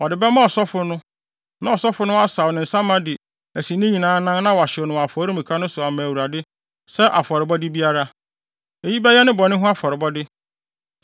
Ɔde bɛma ɔsɔfo no. Na ɔsɔfo no asaw ne nsa ma de asi ne nyinaa anan na wahyew no wɔ afɔremuka no so ama Awurade sɛ afɔrebɔde biara. Eyi bɛyɛ ne bɔne ho afɔrebɔ.